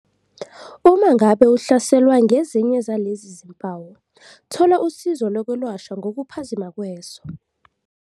Uma ngabe uhlaselwa ngezinye zalezi zimpawu, thola usizo lokwelashwa ngokuphazima kweso.